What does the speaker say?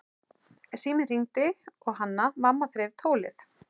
Síminn hringdi og Hanna-Mamma þreif tólið.